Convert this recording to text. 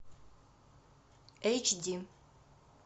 эйч ди